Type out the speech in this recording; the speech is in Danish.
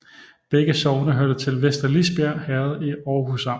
Begge sogne hørte til Vester Lisbjerg Herred i Aarhus Amt